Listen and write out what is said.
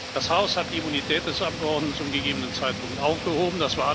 Das Haus hat die Immunität des Abgeordneten zum gegebenen Zeitpunkt aufgehoben.